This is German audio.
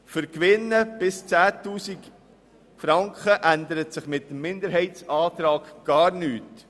Für Gewinne bis zu 10 000 Franken ändert sich durch diesen Minderheitsantrag gar nichts.